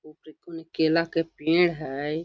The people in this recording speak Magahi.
केला के पेड़ हेय।